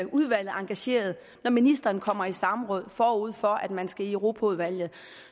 udvalget engageret når ministeren kommer i samråd forud for at man skal i europaudvalget